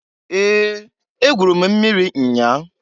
Ee! Egwuru m mmiri nnyaa.